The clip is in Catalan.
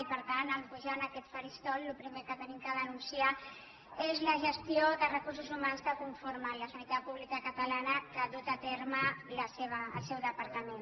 i per tant en pu·jar en aquest faristol el primer que hem de denunciar és la gestió dels recursos humans que conformen la sanitat pública catalana que ha dut a terme el seu departament